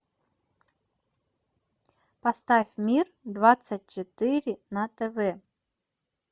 поставь мир двадцать четыре на тв